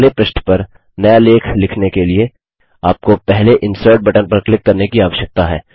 अब अगले पृष्ठ पर नया लेख लिखने के लिए आपको पहले इंसर्ट बटन पर क्लिक करने की आवश्यकता है